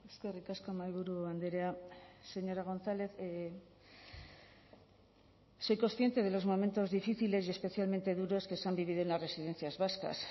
eskerrik asko mahaiburu andrea señora gonzález soy consciente de los momentos difíciles y especialmente duros que se han vivido en las residencias vascas